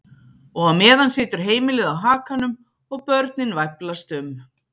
Og á meðan situr heimilið á hakanum og börnin væflast um.